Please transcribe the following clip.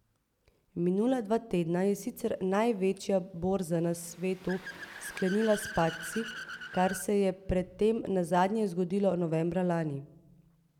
Minula dva tedna je sicer največja borza na svetu sklenila s padci, kar se je pred tem nazadnje zgodilo novembra lani.